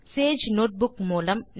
Sage notebook மூலம்